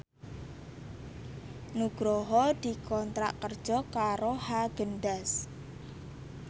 Nugroho dikontrak kerja karo Haagen Daazs